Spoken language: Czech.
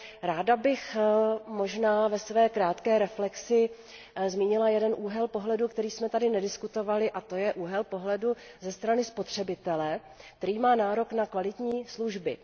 Ráda bych možná ve své krátké reflexi zmínila jeden úhel pohledu, o kterém jsme tady nediskutovali, a to je úhel pohledu ze strany spotřebitele, který má nárok na kvalitní služby.